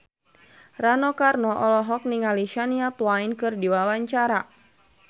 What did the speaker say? Rano Karno olohok ningali Shania Twain keur diwawancara